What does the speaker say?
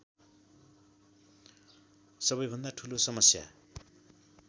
सबैभन्दा ठूलो समस्या